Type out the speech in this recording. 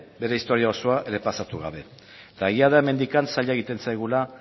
bere historia osoa errepasatu gabe eta egia da hemendik zaila egiten zaigula